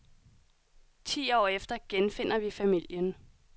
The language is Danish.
Ti år efter genfinder vi familien.